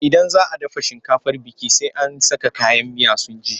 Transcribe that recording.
Idan za a dafa shinkafar biki, sai an saka kayan miya sun ji.